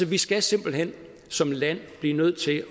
vi skal simpelt hen som land blive nødt til at